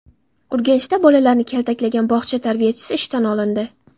Urganchda bolalarni kaltaklagan bog‘cha tarbiyachisi ishdan olindi.